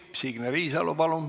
Signe Riisalo, palun!